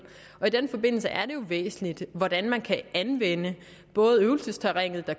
i den forbindelse er det jo væsentligt hvordan man kan anvende både øvelsesterrænet der